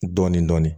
Dɔɔnin dɔɔnin